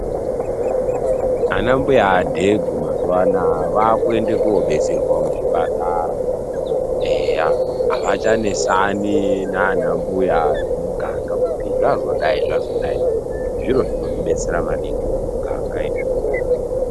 Anambuya dhegu mazuva anaya vakuende kunobetserwa kuzvipatara eya avachanetsani nanambuya vemuganga kuti zvazodai zvazodai zviro zvinotibetsera maningi muganga izvozvo .